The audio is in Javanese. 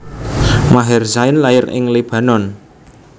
Maher Zain lair ning Libanon